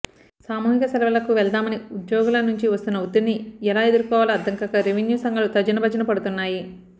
సామూహిక సెలవులకు వెళ్దామని ఉద్యోగుల నుంచి వస్తున్న ఒత్తిడిని ఎలా ఎదుర్కోవాలో అర్థంగాక రెవెన్యూ సంఘాలు తర్జనభర్జన పడుతున్నాయి